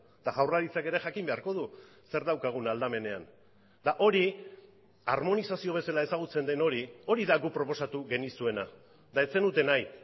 eta jaurlaritzak ere jakin beharko du zer daukagun aldamenean eta hori harmonizazio bezala ezagutzen den hori hori da guk proposatu genizuena eta ez zenuten nahi